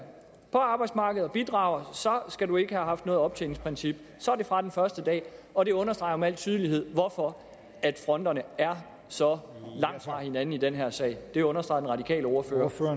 på arbejdsmarkedet og bidrager skal du ikke have haft noget optjeningsprincip så er det fra den første dag og det understreger med al tydelighed hvorfor fronterne er så langt fra hinanden i den her sag det understreger den radikale ordfører